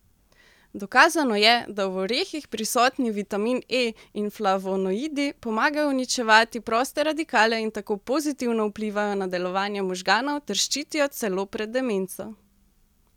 Dokazano je, da v orehih prisotni vitamin E in flavonoidi pomagajo uničevati proste radikale in tako pozitivno vplivajo na delovanje možganov ter ščitijo celo pred demenco.